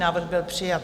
Návrh byl přijat.